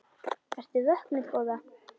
Ertu vöknuð góða?